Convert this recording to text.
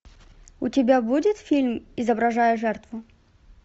у тебя будет фильм изображая жертву